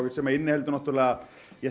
sem inniheldur náttúrulega